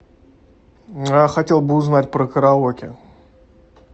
я хотел бы узнать про караоке